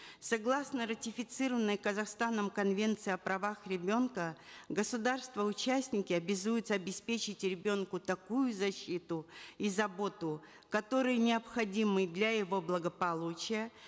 согласно ратифицированной казахстаном конвенции о правах ребенка государства участники обязуются обеспечить ребенку такую защиту и заботу которые необходимы для его благополучия